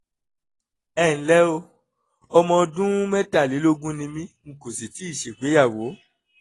ẹ ǹlẹ́ o ọmọ ọdún mẹ́tàlélógún ni mí n kò sì tíì ṣègbéyàwó